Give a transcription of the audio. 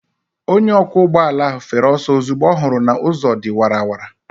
Onye ọkwọ ụgbọala ahụ fere ọsọ ozugbo ọ hụrụ na ụzọ dị wara wara.